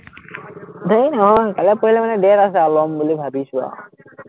এৰ নহয়, কাইলে-পৰহিলে মানে date আছে, লম বুলি ভাৱিছো আৰু